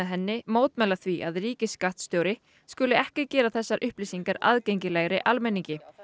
henni mótmæla því að ríkisskattstjóri skuli ekki gera þessar upplýsingar aðgengilegri almenningi